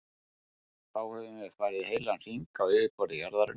Þá höfum við farið heilan hring á yfirborði jarðarinnar.